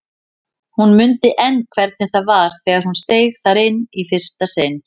Hún mundi enn hvernig það var þegar hún steig þar inn í fyrsta sinn.